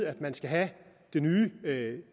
at man skal have det nye